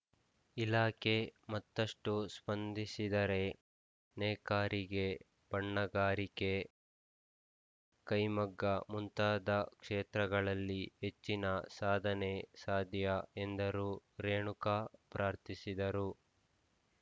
ಇಲಾಖೆ ಮತ್ತಷ್ಟುಸ್ಪಂದಿಸಿದರೆ ನೇಕಾರಿಗೆ ಬಣ್ಣಗಾರಿಕೆ ಕೖಮಗ್ಗ ಮುಂತಾದ ಕ್ಷೇತ್ರಗಳಲ್ಲಿ ಹೆಚ್ಚಿನ ಸಾಧನೆ ಸಾಧ್ಯ ಎಂದರು ರೇಣುಕಾ ಪ್ರಾರ್ಥಿಸಿದರು